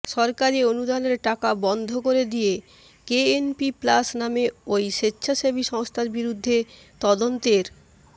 সরকারি অনুদানের টাকা বন্ধ করে দিয়ে কেএনপি প্লাস নামে ওই স্বেচ্ছাসেবী সংস্থার বিরুদ্ধে তদন্তের